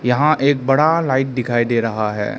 यहां एक बड़ा लाइट दिखाई दे रहा है।